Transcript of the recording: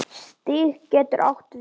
Stig getur átt við